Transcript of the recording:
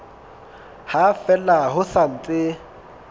ha fela ho sa ntse